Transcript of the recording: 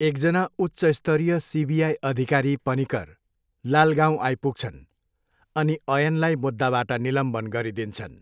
एकजना उच्चस्तरीय सिबिआई अधिकारी पनिकर लालगाउँ आइपुग्छन् अनि अयनलाई मुद्दाबाट निलम्बन गरिदिन्छन्।